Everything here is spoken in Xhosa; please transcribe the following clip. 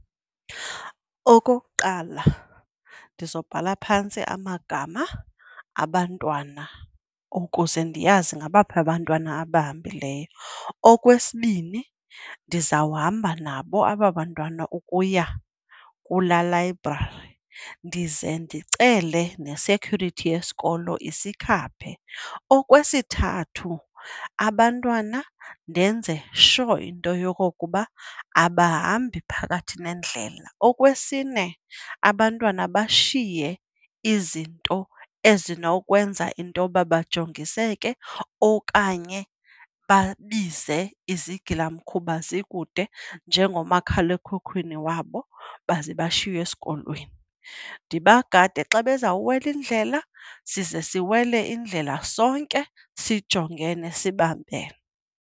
Okokuqala ndizobhala phantsi amagama abantwana ukuze ndiyazi ngabaphi abantwana abahambileyo. Okwesibini ndizawuhamba nabo aba bantwana ukuya kulaa layibrari, ndize ndicele ne-security yesikolo isikhaphe. Okwesithathu abantwana ndenze sure into yokokuba abahambi phakathi nendlela. Okwesine abantwana bashiye izinto ezinokwenza intoba bajongiseke okanye babize izigilamkhuba zikude njengomakhalekhukhwini wabo baze bashiywe esikolweni. Ndibagade xa bezawuwela indlela size siwele indlela sonke sijongene, sibambene.